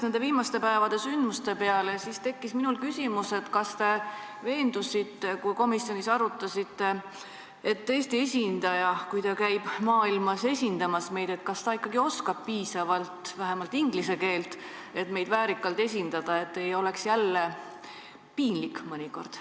Mõeldes viimaste päevade sündmuste peale, tekkis mul küsimus: kui te komisjonis seda arutasite, kas te siis veendusite, et Eesti esindaja, kes käib meid maailmas esindamas, ikkagi oskab piisavalt vähemalt inglise keelt, nii et ta saaks meid väärikalt esindada, et jälle ei oleks mõnikord piinlik?